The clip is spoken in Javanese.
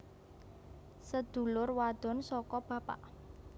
Sedulur wadon saka bapak